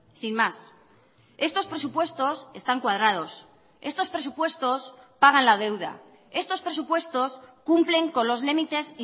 sin más estos presupuestos están cuadrados estos presupuestos pagan la deuda estos presupuestos cumplen con los límites